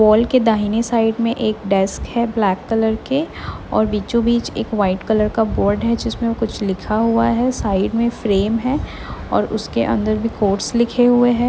Mall के दाहिने side में एक डेस्क हैं ब्लैक कलर के और बीचो बीच एक वाइट कलर का बोर्ड हैं जिसमें कुछ लिखा हुआ हैं साइड में फ्रेम हैं और उसके अंदर में कोर्स लिखे हुए हैं।